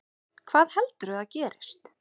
Hvað heldurðu að gerist?